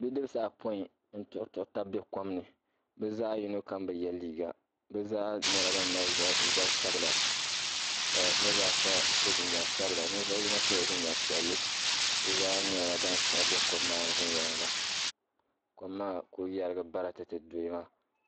bidibisi ayɔpɔin n-tuɣiruɣi taba be kom ni bɛ zaɣ' yino kam bi ye liiga bɛ zaa nyɛla ban mali zab' sabila ka niriba ata so jinjam sabila ninvuɣ' yino sɔla jinjam piɛlli bɛ zaa nyɛla ban siɣi be kom maani viɛnyɛliŋga kom maa ku yɛrigi baratete dɔya maa